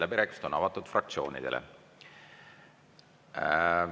Läbirääkimised on avatud fraktsioonidele.